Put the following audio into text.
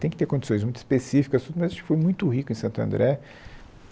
Tem que ter condições muito específicas tudo, mas acho que foi muito rico em Santo André.